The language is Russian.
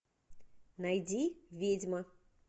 найди ведьма